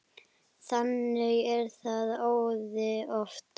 Þannig er það æði oft.